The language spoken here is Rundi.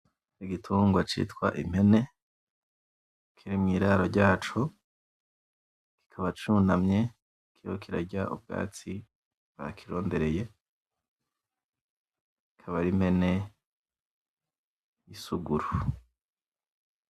Igitungwa citwa impene kiri mwiraro ryaco , kikaba cunamye kiriko kirarya ubwatsi bakirondereye , akaba ari impene y'isuguru.